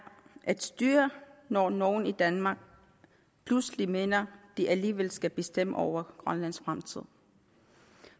at styre når nogle i danmark pludselig mener at de alligevel skal bestemme over grønlands fremtid